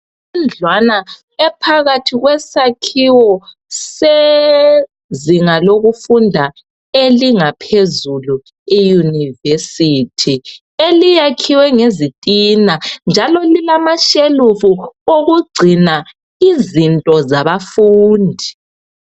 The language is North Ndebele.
Indlwana ephakathi kwesakhiwo sezinga lokufunda elingaphezulu e university eliyakhiwe ngezitina njalo lilamashelufu okugcina izinto zabafundi